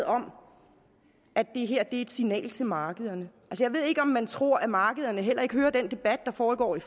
om at det her er et signal til markederne jeg ved ikke om man tror at markederne heller ikke hører den debat der foregår i